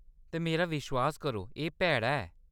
ते मेरा विश्वास करो, एह्‌‌ भैड़ा ऐ।